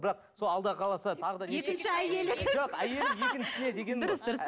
бірақ сол алла қаласа екінші әйелім жоқ әйелім екіншісіне дегенім дұрыс дұрыс